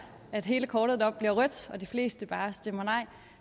at hele kortet deroppe bliver rødt og de fleste bare stemmer nej